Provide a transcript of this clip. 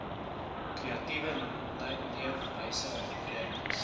kreatiewe leefwyse rennies